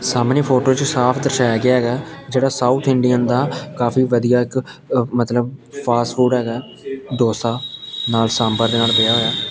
ਸਾਹਮਣੀ photo ਚ ਸਾਫ ਦਰਸਾਇਆ ਗਿਆ ਹੈਗਾ ਜਿਹੜਾ ਸਾਊਥ ਇੰਡੀਅਨ ਦਾ ਕਾਫੀ ਵਧੀਆ ਇੱਕ ਅ ਮਤਲਬ ਫਾਸਟ ਫੂਡ ਹੈਗਾ ਡੋਸਾ ਨਾਲ ਸਾਂਬਰ ਦੇ ਨਾਲ ਪਿਆ ਹੋਇਆ।